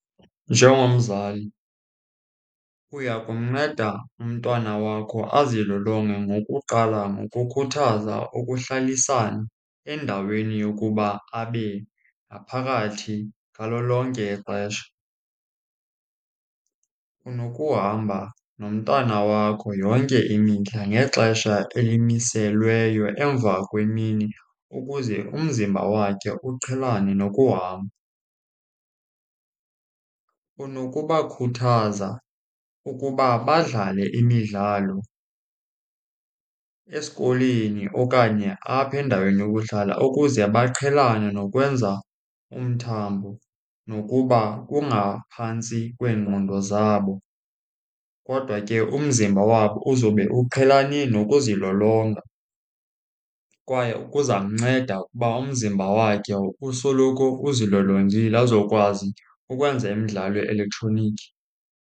Njengomzali uya kumnceda umntwana wakho azilolonge ngokuqala ngokukhuthaza ukuhlalisana endaweni yokuba abe ngaphakathi ngalo lonke ixesha. Unokuhamba nomntana wakho yonke imihla ngexesha elimiselweyo emva kwemini ukuze umzimba wakhe uqhelane nokuhamba. Unokubakhuthaza ukuba badlale imidlalo esikolweni okanye apha endaweni yokuhlala ukuze baqhelane nokwenza umthambo. Nokuba kungaphantsi kweengqondo zabo kodwa ke umzimba wabo uzobe uqhelane nokuzilolonga kwaye kuzamnceda ukuba umzimba wakhe usoloko uzilolongile azokwazi ukwenza imidlalo ye-elektroniki.